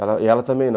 Ela e ela também não.